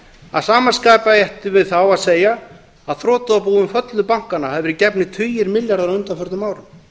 að sama skapi ættum við þá að segja að þrotabúum föllnu bankanna hafi verið gefnir tugir milljarða á undanförnum árum